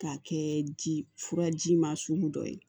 K'a kɛ ji furaji ma sugu dɔ ye